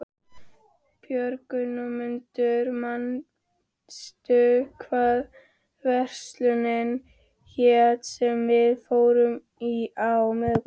Björgmundur, manstu hvað verslunin hét sem við fórum í á miðvikudaginn?